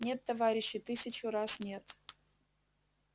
нет товарищи тысячу раз нет